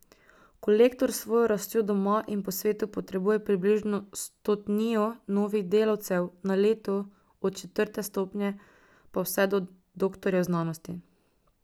Kolektor s svojo rastjo doma in po svetu potrebuje približno stotnijo novih delavcev na leto od četrte stopnje pa vse do doktorjev znanosti.